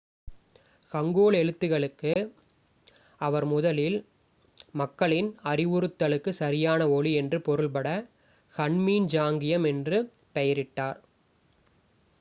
"Hangul எழுத்துக்களுக்கு அவர் முதலில் "மக்களின் அறிவுறுத்தலுக்கு சரியான ஒலி" என்று பொருள்பட ஹன்மின் ஜாங்கியம் என்று பெயரிட்டார்.